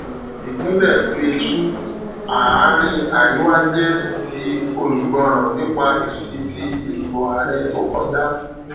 ìpínlẹ plateau àárín àríwá jẹ ti olùgbọràn nípa èsì tí ìdìbò ààrẹ tó kọjá